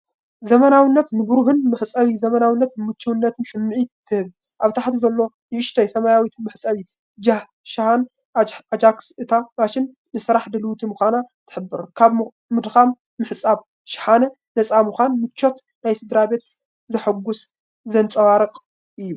ዘመናዊትን ንብሩህን መሕጸቢ ዘመናዊነትን ምቹእነትን ስምዒት ትህብ። ኣብ ታሕቲ ዘሎ ንእሽቶ ሰማያዊት መሕጸቢ ሻሃነ ኣጃክስ እታ ማሽን ንስራሕ ድልውቲ ምዃና ትሕብር። ካብ ድኻም ምሕጻብ ሻሓነ ነጻ ምዃንን ምቾት ናይ ስድራቤት ሓጐስ ዘንጸባርቕ እዩ።